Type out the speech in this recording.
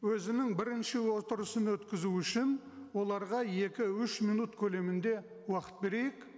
өзінің бірінші отырысын өткізу үшін оларға екі үш минут көлемінде уақыт берейік